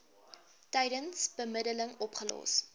tydens bemiddeling opgelos